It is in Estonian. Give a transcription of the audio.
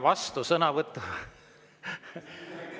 Vastusõnavõtt …